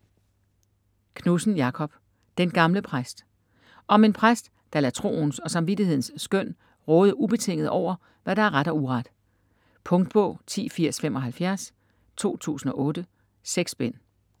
Knudsen, Jakob: Den gamle præst Om en præst, der lader troens og samvittighedens skøn råde ubetinget over, hvad der er ret og uret. Punktbog 108075 2008. 6 bind.